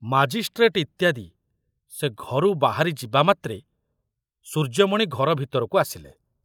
Magistrate ଇତ୍ୟାଦି ସେ ଘରୁ ବାହାରି ଯିବାମାତ୍ରେ ସୂର୍ଯ୍ୟମଣି ଘର ଭିତରକୁ ଆସିଲେ।